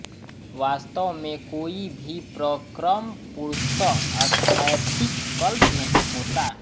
वास्तव में कोई भी प्रक्रम पूर्णतः स्थैतिककल्प नहीं होता